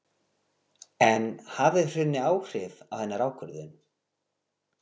En hafði hrunið áhrif á hennar ákvörðun?